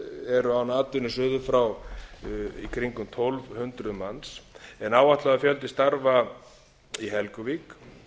eru án atvinnu suður frá í kringum tólf hundruð manns en áætlaður fjöldi starfa í helguvík